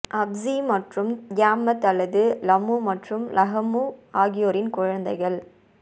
ups மற்றும் Tiamat அல்லது Lahmu மற்றும் லஹமு ஆகியோரின் குழந்தைகள்